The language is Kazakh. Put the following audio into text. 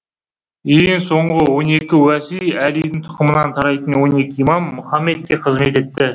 ең соңғы он екі уәси әлидің тұқымынан тарайтын он екі имам мұхаммедке қызмет етті